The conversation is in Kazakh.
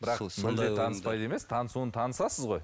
бірақ мүлдем таныспайды емес танысуын танысасыз ғой